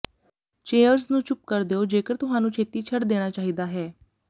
chairs ਨੂੰ ਚੁੱਪ ਕਰ ਦਿਓ ਜੇਕਰ ਤੁਹਾਨੂੰ ਛੇਤੀ ਛੱਡ ਦੇਣਾ ਚਾਹੀਦਾ ਹੈ